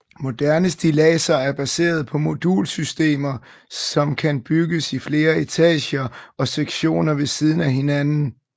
Moderne stilladser er baseret på modulsystemer som kan bygges i flere etager og sektioner ved siden af hinanden